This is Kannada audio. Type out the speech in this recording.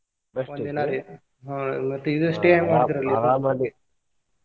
ಒಂದ್ ದಿನಾ ರಿ ಹ್ಮ್ ಮತ್ತ್ ಇದ್ stay ಹೆಂಗ್ ಮಾಡಿದ್ರಿ ಅಲ್ಲಿ? .